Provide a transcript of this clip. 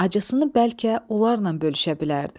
Acısını bəlkə onlarla bölüşə bilərdi.